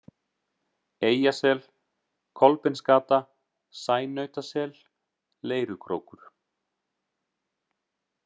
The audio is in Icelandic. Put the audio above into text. Eyjasel, Kolbeinsgata, Sænautasel, Leirukrókur